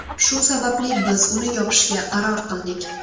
Shu sababli biz uni yopishga qaror qildik.